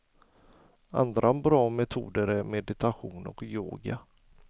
Andra bra metoder är meditation och yoga.